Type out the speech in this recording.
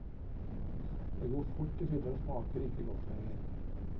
De går fort i filler og smaker ikke godt lenger.